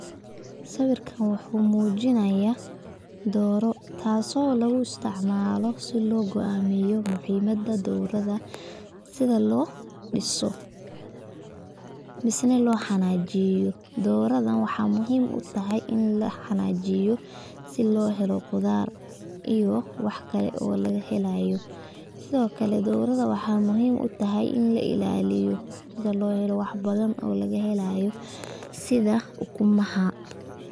Sawirkan wuxuu muujinaya dooro taaso lugu isticmaalo si oo go'amiyo muhiimada doorada sida loo dhiso misena loo xananeyo, doorada waxay muhiim utahay ini laxananeyo si loo helo qudaar iyo wax kale oo laga helayo, sidokale doorada waxay muhiim utahay ini la ilaliyo sida loo helo wax badan oo laga helayo sida ukumaha